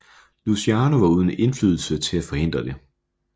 Luciano var uden indflydelse til at forhindre det